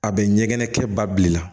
A bɛ ɲɛgɛn kɛ ba bi la